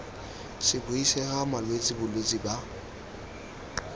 se buisega malwetse bolwetse ba